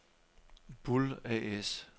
Bull A/S